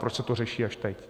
Proč se to řeší až teď?